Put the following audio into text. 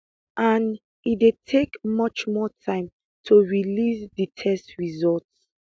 and e dey take much more time to release di test results